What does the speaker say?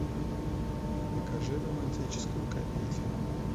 покажи романтическую комедию